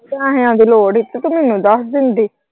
ਪੈਹਿਆਂ ਦੀ ਲੋੜ ਹੀ ਤੇ ਤੂੰ ਮੈਨੂੰ ਦੱਸ ਦਿੰਦੀ।